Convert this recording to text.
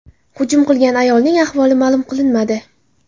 Hujum qilgan ayolning ahvoli ma’lum qilinmadi.